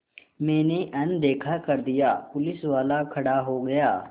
मैंने अनदेखा कर दिया पुलिसवाला खड़ा हो गया